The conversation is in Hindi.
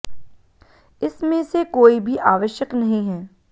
इस में से कोई भी आवश्यक नहीं है